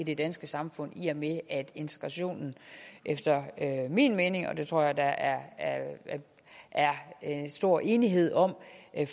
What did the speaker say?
det danske samfund i og med at integrationen efter min mening og det tror jeg der er er stor enighed om